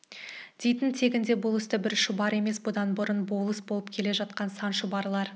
дейтін тегінде бұл істі бір шұбар емес бұдан бұрын болыс болып келе жатқан сан шұбарлар